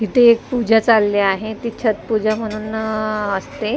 इथे एक पूजा चालली आहे ती छटपूजा म्हणून अ असते.